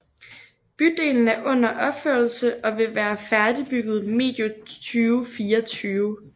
Bydelen er under opførelse og vil være færdigbygget medio 2024